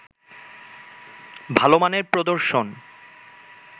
ভালো মানের প্রদর্শন